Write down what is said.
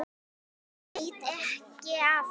Það veitti ekki af.